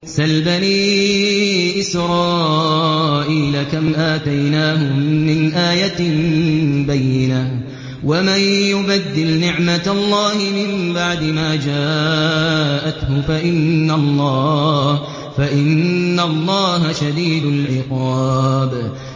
سَلْ بَنِي إِسْرَائِيلَ كَمْ آتَيْنَاهُم مِّنْ آيَةٍ بَيِّنَةٍ ۗ وَمَن يُبَدِّلْ نِعْمَةَ اللَّهِ مِن بَعْدِ مَا جَاءَتْهُ فَإِنَّ اللَّهَ شَدِيدُ الْعِقَابِ